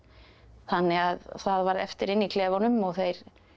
þannig að það varð eftir inni í klefunum og þeir